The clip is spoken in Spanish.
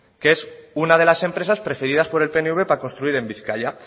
que es una de las empresas preferidas por el pnv para construir en bizkaia